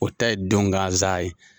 O ta ye don gansan ye.